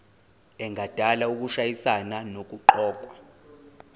engadala ukushayisana nokuqokwa